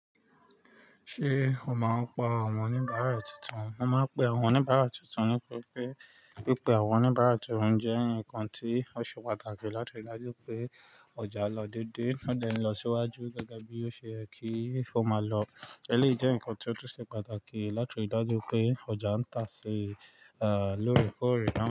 Ṣé o máa ń pa àwọn oníbàárà tuntun? Wọ́n máa ń pe àwọn oníbàárà tuntun nítori pé, pi pé àwọn oníbàárà tuntun jẹ́ ǹkan tí ó ṣe pàtàkì láti rí dájú pé ọjà lọ dédé, ó dè n lọ síwájú gẹ́gẹ́ bí ó ṣe yẹ kí ó máa lọ. Ẹ̀léyìí jẹ́ ǹkan tí ó tún ṣe pàtàkì láti rí dájú pé ọjà ń tà sí, à, lóorekore naa.